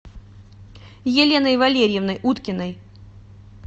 еленой валерьевной уткиной